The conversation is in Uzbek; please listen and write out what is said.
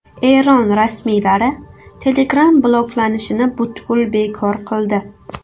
Eron rasmiylari Telegram bloklanishini butkul bekor qildi.